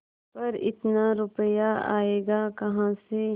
पर इतना रुपया आयेगा कहाँ से